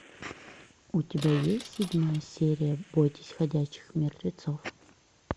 у тебя есть седьмая серия бойтесь ходячих мертвецов